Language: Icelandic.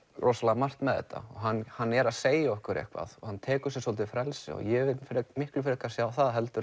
rosalega margt með þetta hann hann er að segja okkur eitthvað og hann tekur sér svolítið frelsi og ég vil miklu frekar sjá það heldur